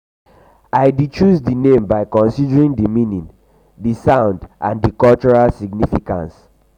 i dey choose di name di name by considering di meaning di soundand di cultural significance.